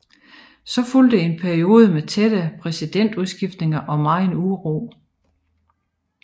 Så fulgte en periode med tætte præsidentudskiftninger og megen uro